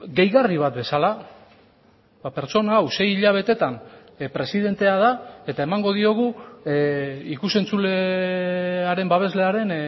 gehigarri bat bezala pertsona hau sei hilabetetan presidentea da eta emango diogu ikus entzulearen babeslearen